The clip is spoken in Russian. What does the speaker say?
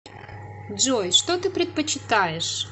джой что ты предпочитаешь